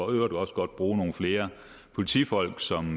øvrigt også godt bruge nogle flere politifolk som